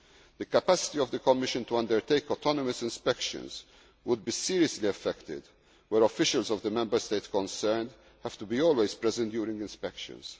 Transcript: informed. The capacity of the Commission to undertake autonomous inspections would be seriously affected when officials of the Member State concerned have to be always present during